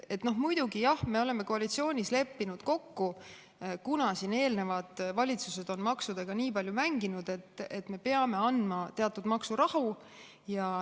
Muidugi me oleme koalitsioonis leppinud kokku, et kuna eelnevad valitsused on maksudega nii palju mänginud, siis me peame andma teatud maksurahu.